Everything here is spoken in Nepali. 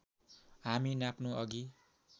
हामी नाप्नु अघि